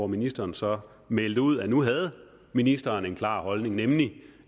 ministeren så meldte ud at nu havde ministeren en klar holdning nemlig